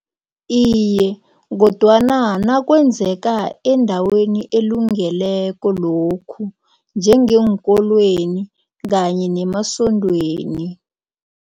Iye, kodwana nakwenzeka endaweni elungeleko lokhu njengeenkolweni kanye nemasondweni.